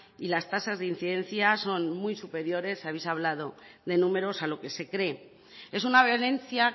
y las tasas de incidencia son muy superiores habéis hablado de números a lo que se cree es una violencia